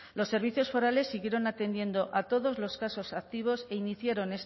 los servicios forales siguieron atendiendo a todos los casos activos e iniciaron